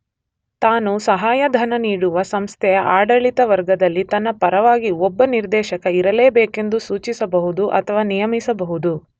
ತಾನು ಸಹಾಯಧನ ನೀಡುವ ಸಂಸ್ಥೆಯ ಆಡಳಿತ ವರ್ಗದಲ್ಲಿ ತನ್ನ ಪರವಾಗಿ ಒಬ್ಬ ನಿರ್ದೇಶಕ ಇರಲೇಬೇಕೆಂದು ಸೂಚಿಸಬಹುದು ಅಥವಾ ನಿಯಮಿಸಬಹುದು.